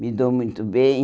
Me dou muito bem.